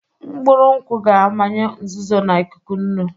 Mkpụrụ nkwụ ga-amanye nzuzo na ikuku nnu.